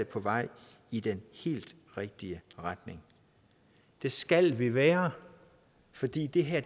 på vej i den helt rigtige retning det skal vi være fordi det her